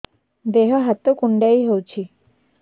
ଦେହ ହାତ କୁଣ୍ଡାଇ ହଉଛି